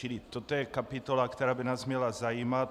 Čili toto je kapitola, která by nás měla zajímat.